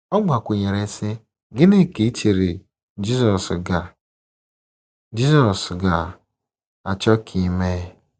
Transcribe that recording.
Ọ gbakwụnyere, sị, “ Gịnị ka i chere Jizọs ga Jizọs ga - achọ ka ị mee? ”